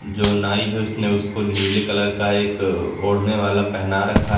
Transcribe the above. जो नाई है उसने उसको नीले कलर का एक ओढ़ने वाला पेहना रखा है।